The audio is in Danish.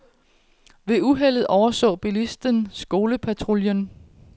Ved uheldet overså bilisten skolepatruljen.